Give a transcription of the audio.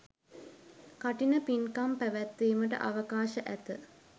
කඨින පින්කම් පැවැත්වීමට අවකාශ ඇත.